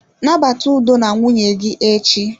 Nabata udo na nwunye gị echi.